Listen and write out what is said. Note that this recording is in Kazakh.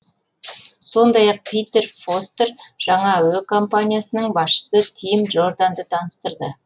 сондай ақ питер фостер жаңа әуе компаниясының басшысы тим джорданды таныстырды